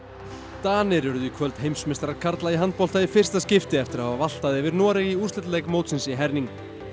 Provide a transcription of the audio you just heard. Danir urðu í kvöld heimsmeistarar karla í handbolta í fyrsta skipti eftir að hafa valtað yfir Noreg í úrslitaleik mótsins í herning